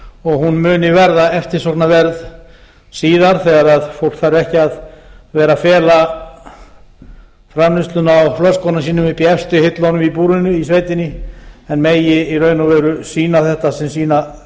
og hún muni verða eftirsóknarverð síðar þegar fólk þarf ekki að vera að fela framleiðsluna á flöskum sínum uppi í efstu hillunum í búrinu í sveitinni en megi sýna þetta sem sína